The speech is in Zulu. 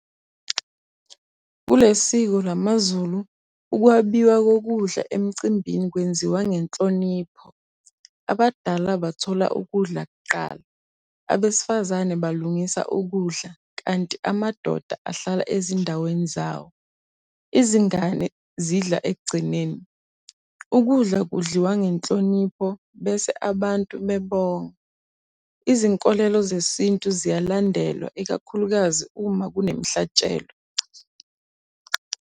Kuleli siko lamaZulu, ukwabiwa kokudla emcimbini kwenziwa ngenhlonipho. Abadala bathola ukudla kuqala. Abesifazane balungisa ukudla, kanti amadoda ahlala ezindaweni zawo. Izingane zidla ekugcineni. Ukudla kudliwa ngenhlonipho, bese abantu bebonga. Izinkolelo zesintu ziyalandelwa ikakhulukazi uma kunemihlatshelo.